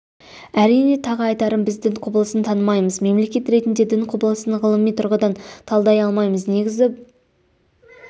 әрине тағы айтарым біз дін құбылысын танымаймыз мемлекет ретінде дін құбылысын ғылыми тұрғыдан талдай алмаймыз негізі